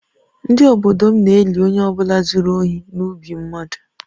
Ndị obodo m na-eli onye ọ bụla zuru ohi n’ubi mmadụ